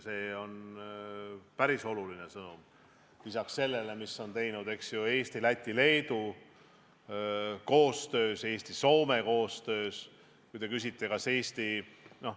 See on päris oluline sõnum lisaks sellele, mida Eesti, Läti ja Leedu on koostöös teinud, samuti Eesti ja Soome.